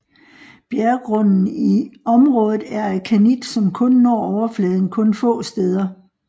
Bjergrunden i området er af granit som kun når overfladen kun få steder